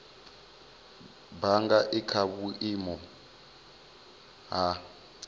bannga i kha vhuimo ha